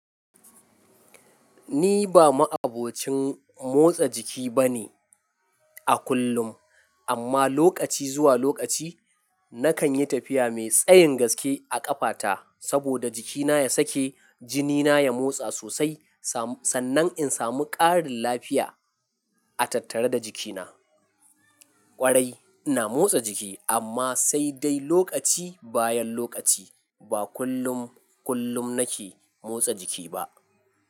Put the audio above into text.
Ni ba ma'abocin motsa jiki bane a kullum, amma lokaci zuwa lokaci nakan yi tafiya mai tsayin gaske a ƙafata saboda jikina ya sake, jini na ya motsa sosai, sannan in samu ƙarin lafiya a tattare da jikina. Ƙwarai ina motsa jiki amma sai dai, lokaci bayan lokaci. Ba kullum, kullum nake motsa jiki ba.